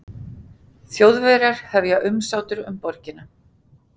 Þjóðverjar hefja umsátur um borgina